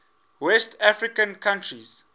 west african countries